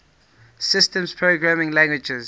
systems programming languages